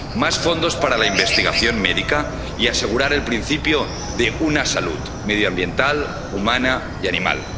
más fondos para la investigación médica, y asegurar el principio de una salud medioambiental, humana y animal.